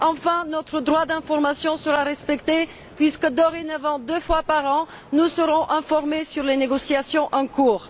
Enfin, notre droit d'information sera respecté, puisque, dorénavant, deux fois par an, nous serons informés sur les négociations en cours.